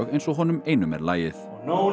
eins og honum einum er lagið